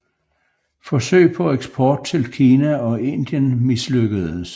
Forsøg på eksport til Kina og Indien mislykkedes